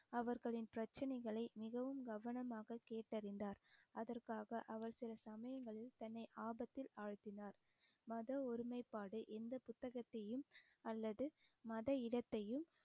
அவர்களின் பிரச்சனைகளை மிகவும் கவனமாக கேட்டறிந்தார் அதற்காக அவர் அவர் சில சமயங்களில் தன்னை ஆபத்தில் ஆழ்த்தினார் மத ஒருமைப்பாடு எந்த புத்தகத்தையும் அல்லது மத இனத்தையும்